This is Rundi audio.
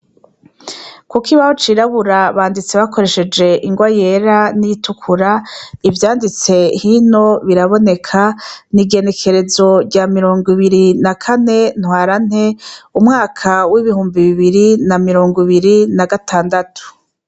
Ku kibaho c'irabura banditse bakoresheje ingwa yera niritukura ivyanditse hino biraboneka nigenekerezo rya mirongo ibiri Ntwarante umwaka wibihumbi bibiri na mirongo ibiri na gatandatu .